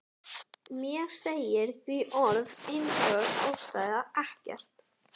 Mér segir því orð einsog ástæða ekkert.